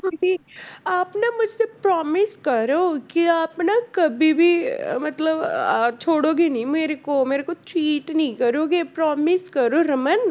ਆਪ ਨਾ ਮੁਝਸੇ promise ਕਰੋ ਕਿ ਆਪ ਨਾ ਕਬੀ ਵੀ ਅਹ ਮਤਲਬ ਅਹ ਛੋਡੋਗੇ ਨਹੀਂ ਮੇਰੇ ਕੋ ਮੇਰੇ ਕੋ cheat ਨਹੀਂ ਕਰੋਗੇ promise ਕਰੋ ਰਮਨ